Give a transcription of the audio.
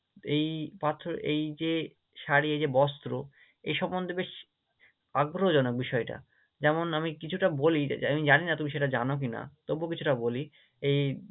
এই পাথর, এই যে শাড়ি এই যে বস্ত্র এই সম্মন্ধে বেশ আগ্রহজনক বিষয়টা, যেমন আমি কিছুটা বলি যে আমি জানি না তুমি সেটা জানো কি না? তবুও কিছুটা বলি এই